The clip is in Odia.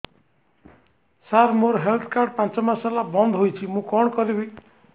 ସାର ମୋର ହେଲ୍ଥ କାର୍ଡ ପାଞ୍ଚ ମାସ ହେଲା ବଂଦ ହୋଇଛି ମୁଁ କଣ କରିବି